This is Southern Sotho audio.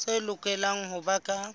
tse lokelang ho ba ka